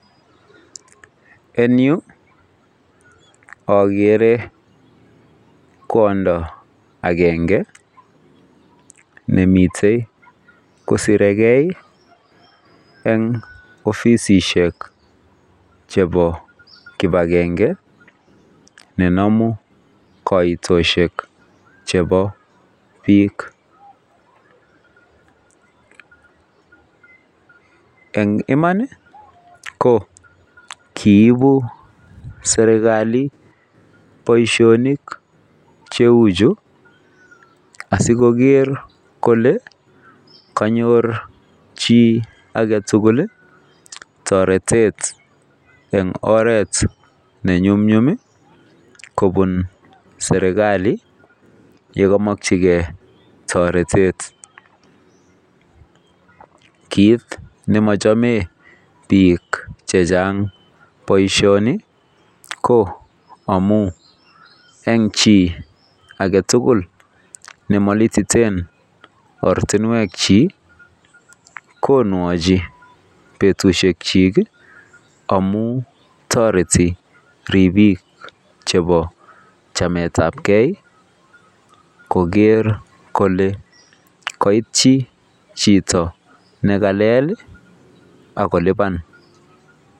En Yu agere kwondo agenge nemiten kosire gei en ofisit Nebo kibagenge nenamu kaitoshek chebo bik en Iman kokibu serikali Baishonik chechu asikoger Kole kanyor chi agetugul taretet en oret nenyumnyum kobun. Serikali olekamakin gei taretet kit neachame bik chechang baishoni ko amun en chi agetugul chemalititenboratinwek chik konwachi betushek chik amun tareti ribik Che chamet ab gei Koger Kole kaitui Chito nekalel akoluban